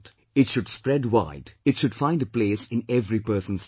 It should spread wide, it should find a place in every person's life